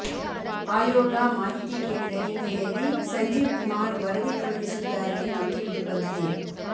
ಆಯೋಗ ಮಾಹಿತಿ ಕೇಳಿದ ಹಿನ್ನೆಲೆಯಲ್ಲಿ ಸಂಜೀವ್ ಕುಮಾರ್ ವರದಿ ಕಳುಹಿಸಿದ್ದಾರೆ ಎಂದು ತಿಳಿದು ಬಂದಿದೆ